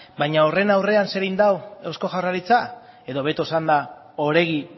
baina horren aurrean zer egin du eusko jaurlaritzak edo hobeto esanda oregi